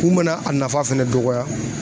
Mun bɛ na a nafa fɛnɛ dɔgɔya